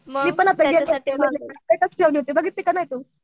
मी पण आता गेलते बघितली का नाही तू ?